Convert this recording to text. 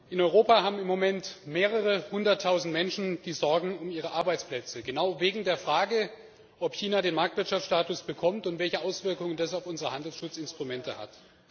In Europa sorgen sich im Moment mehrere hunderttausend Menschen um ihre Arbeitsplätze genau wegen der Frage, ob China den Marktwirtschaftsstatus bekommt und welche Auswirkungen das auf unsere Handelsschutzinstrumente hat.